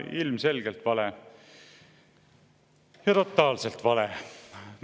Ilmselgelt vale ja totaalselt vale!